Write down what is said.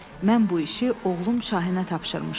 Mən bu işi oğlum Şahinə tapşırmışam.